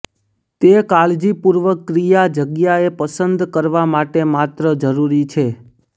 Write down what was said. તે કાળજીપૂર્વક ક્રિયા જગ્યાએ પસંદ કરવા માટે માત્ર જરૂરી છે